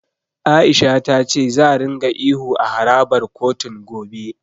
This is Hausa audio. A'isha ta ce za ringa ihu a harabar kotun, gobe.